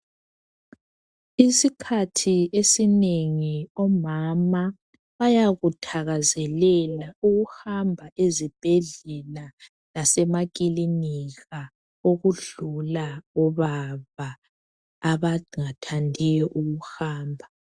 Isikhathi esinengi omama bayakuthakazelela ukuhamba ezibhedlela lasemakilinika ukudlula obaba abangathandiyo ukuhamba